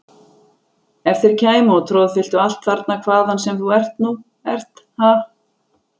Ef þeir kæmu og troðfylltu allt þarna hvaðan sem þú nú ert, ha!